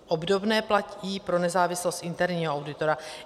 Obdobné platí pro nezávislost interního auditora.